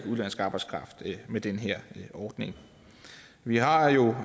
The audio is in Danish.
udenlandsk arbejdskraft med den her ordning vi har jo